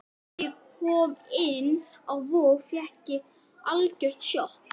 Þegar ég kom inn á Vog fékk ég algjört sjokk.